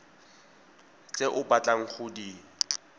tse o batlang go di